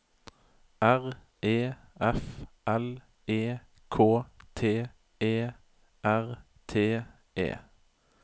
R E F L E K T E R T E